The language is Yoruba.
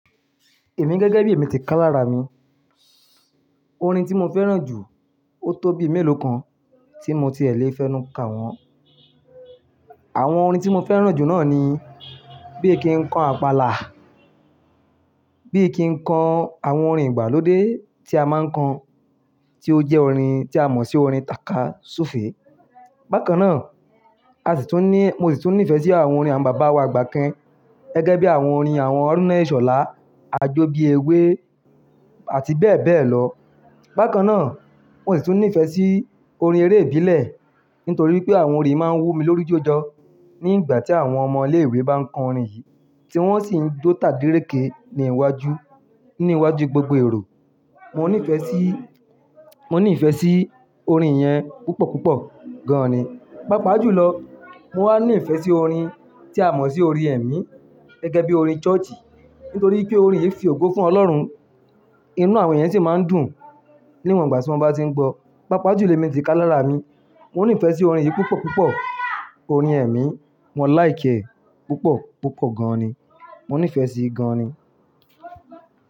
Èmi gẹ́gẹ́ bí èmi ti ká lára mi, orin tí mo fẹ́ràn jù ó tó bí mélòó kan tí mo ti è lè fẹ́nu ka wọn. Àwọn orin tí mo fẹ́ràn jù náà ni bí ki ń kọ Àpàlà, bí ki ń kọ àwọn orin ìgbàlódé tí a máa ń kọ, tí ó jẹ́ orin tí a mọ̀ sí orin tàka súfèé. Bákan náà, a sì tún ní, mo sì tún nífẹ̀ẹ́ sí àwọn orin àwọn bàbá wa àgbà kan gẹ́gẹ́ bí àwọn orin àwọn Àrúnà iṣolá, Ajó bí ewé àti bẹ́ẹ̀ bẹ́ẹ̀ lọ. Bákan náà, mo sì tún nífẹ̀ẹ́ sí orin eré ìbílẹ̀ nítorí pé àwọn orin máa ń wú mi lórí jójọ ní ìgbà tí àwọn ọmọ ilé ìwé bá ń kọ orin yìí tí wọ́n sì ń jó tà dírékì ní iwájú, ní iwájú gbogbo èrò. Mo ní ìfẹ́ sí, mo ní ìfẹ́ sí orin yẹn púpọ̀ púpọ̀ gan-an ni. Pápá jù lọ, mo wá ní ìfẹ́ sí orin tí a mọ̀ sí orin ẹ̀mí gẹ́gẹ́ bí orin church nítorí pé orin yìí fi ògo fún Ọlọ́run. Inú àwọn yẹn sì máa ń dùn níwọ̀n ìgbà tí wọ́n bá tí ń gbọ́. Pápá jù mí ti ká lára mi, mo ní ìfẹ́ sí orin yìí púpọ̀ púpọ̀. Orin ẹ̀mí, mo like ẹ́ púpọ̀ púpọ̀ gan-an ni. Mo nífẹ̀ẹ́ sí i gan-an ni.